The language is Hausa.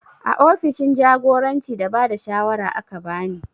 A ofishin jagoranci da bada shawara aka bani